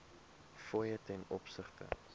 fooie ten opsigte